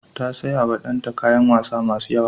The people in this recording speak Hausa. Ta sayawa danta kayan wasa masu yawa.